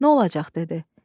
Nə olacaq dedi.